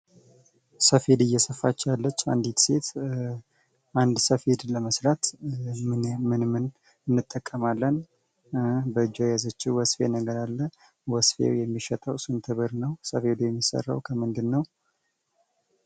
ሰፌድ እየሰፋች ያለች አንዲት ሴት አንድ ሰፌድ ለመስፋት ምን ምን እንጠቀማለን? በእጇ የያዘችው ወስፌ ነገር አለ ወስፌው የሚሸጠው ስንት ብር ነው? ሰፌዱ የሚሰራው ከምንድነው?